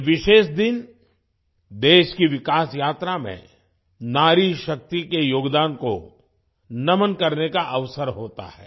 ये विशेष दिन देश की विकास यात्रा में नारीशक्ति के योगदान को नमन करने का अवसर होता है